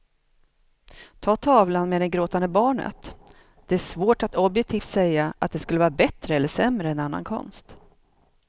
Ta tavlan med det gråtande barnet, det är svårt att objektivt säga att den skulle vara bättre eller sämre än annan konst.